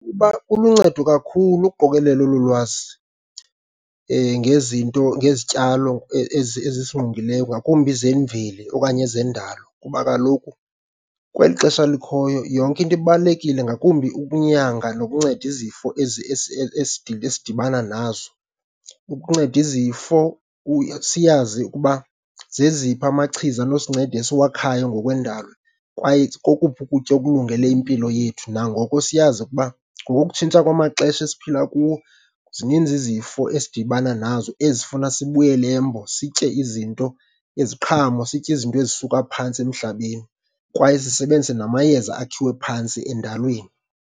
kuluncedo kakhulu ukuqokelela olu lwazi ngezinto ngezityalo ezisingqongileyo, ngakumbi zemveli okanye zendalo kuba kaloku kweli xesha likhoyo yonke into ibalulekile, ngakumbi ukunyanga nokunceda izifo esidibana nazo. Ukunceda izifo siyazi ukuba zeziphi amachiza anosincedisa owakhayo ngokwendalo kwaye kokuphi ukutya okulungele impilo yethu. Nangoko siyazi ukuba ngokokutshintsha kwamaxesha esiphila kuwo, zininzi izifo esidibana nazo ezifuna sibuyele embo, sitye izinto, iziqhamo, sitye izinto ezisuka phantsi emhlabeni, kwaye sisebenzise namayeza akhiwe phantsi endalweni.